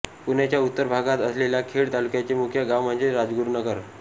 पुण्याच्या उत्तर भागात असलेल्या खेड तालुक्याचे मुख्य गाव म्हणजे राजगुरुनगर